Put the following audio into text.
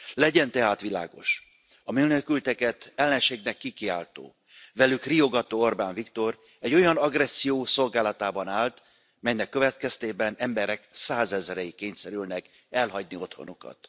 Legyen tehát világos a menekülteket ellenségnek kikiáltó, velük riogató Orbán Viktor egy olyan agresszió szolgálatába állt, amelynek következtében emberek százezrei kényszerülnek elhagyni otthonukat.